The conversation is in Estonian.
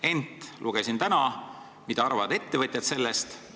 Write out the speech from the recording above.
Ent ma lugesin täna, mida arvavad sellest ettevõtjad.